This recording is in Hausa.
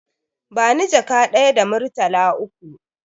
Bani jaka ɗaya da murtala uku